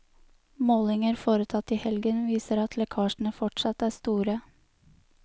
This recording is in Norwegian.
Målinger foretatt i helgen viser at lekkasjene fortsatt er store.